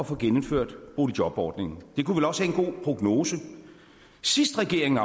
få genindført boligjobordningen det kunne vel også have en god prognose sidst regeringen